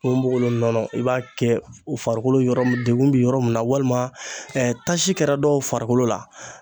Ponponpogolon nɔnɔ i b'a kɛ farikolo yɔrɔ mun degun bi yɔrɔ mun na walima ɛɛ tasi kɛra dɔw farikolo la